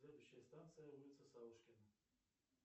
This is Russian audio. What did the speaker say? следующая станция улица савушкина